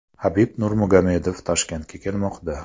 Habib Nurmagomedov Toshkentga kelmoqda .